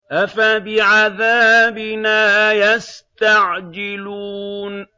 أَفَبِعَذَابِنَا يَسْتَعْجِلُونَ